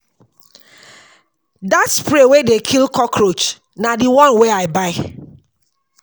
Dat spray wey dey kill cockroach na di one wey I buy.